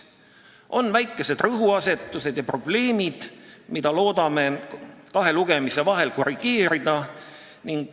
On väikesed rõhuasetused ja probleemid, mida loodame kahe lugemise vahel korrigeerida.